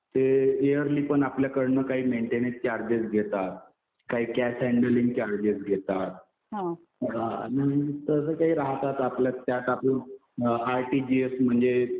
ते इयरलि पण आपल्याकडनं काही मेंटेनन्स चार्जेस घेतात. काही कॅश हँडलिंग चार्जेस घेतात. नंतर काही राहतात आपले त्यात आपण आरटिजीएस म्हणजे